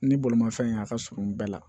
Ni bolimanfɛn y'a ka surun bɛɛ la